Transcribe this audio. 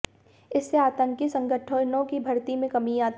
इससे आतंकी संगठनों की भर्ती में कमी आती है